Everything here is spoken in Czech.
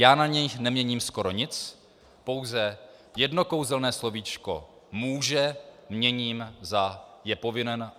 Já na nich neměním skoro nic, pouze jedno kouzelné slovíčko "může" měním za "je povinen".